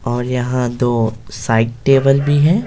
और यहां दो साइड टेबल भी है --